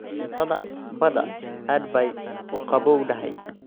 Cuntada badda aad bay u qabowdahay.